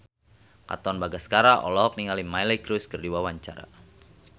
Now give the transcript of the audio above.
Katon Bagaskara olohok ningali Miley Cyrus keur diwawancara